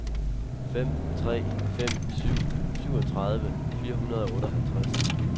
fem tre fem syv syvogtredive fire hundrede og otteoghalvtreds